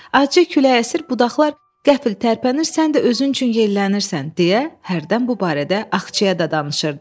Acı külək əsir, budaqlar qəfil tərpənir, sən də özün üçün yellənirsən deyə hərdən bu barədə Axçaya da danışırdı.